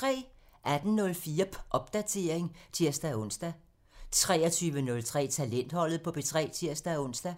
18:04: Popdatering (tir-ons) 23:03: Talentholdet på P3 (tir-ons)